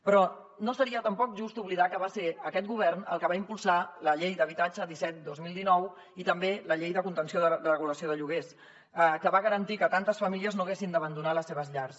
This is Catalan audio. però no seria tampoc just oblidar que va ser aquest govern el que va impulsar la llei d’habitatge disset dos mil dinou i també la llei de contenció de regulació de lloguers que va garantir que tantes famílies no haguessin d’abandonar les seves llars